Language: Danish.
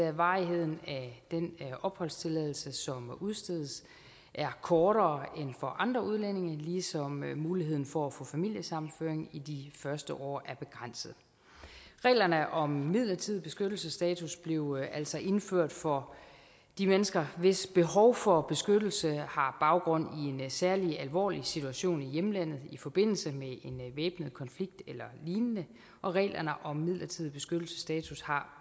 at varigheden af den opholdstilladelse som udstedes er kortere end for andre udlændinge ligesom muligheden for at få familiesammenføring i de første år er begrænset reglerne om midlertidig beskyttelsesstatus blev altså indført for de mennesker hvis behov for beskyttelse har baggrund i en særlig alvorlig situation i hjemlandet i forbindelse med en væbnet konflikt eller lignende og reglerne om midlertidig beskyttelsesstatus har